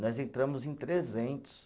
Nós entramos em trezentos.